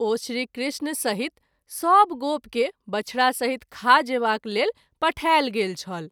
ओ श्री कृष्ण सहित सभ गोप के बछड़ा सहित खा जेबाक लेल पठायल गेल छल।